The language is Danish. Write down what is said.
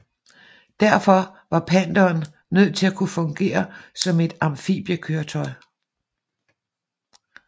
Derfor var Pantheren nødt til at kunne fungere som et amfibiekøretøj